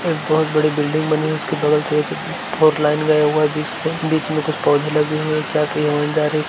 एक बहुत बड़ी बिल्डिंग बनी उसके बगल से एक फोर लाइन गया हुआ है बीच से। बीच मे कुछ पौधे लगे हुए हैं। एक चार पहिया वाहन जा रह --